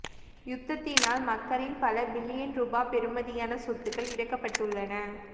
யுத்தத்தினால் மக்களின் பல பில்லியன் ரூபா பெறுமதியான சொத்துக்கள் இழக்கப்பட்டுள்ளன